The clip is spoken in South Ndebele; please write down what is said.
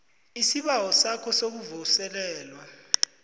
isibawo sakho sokuvuselelwa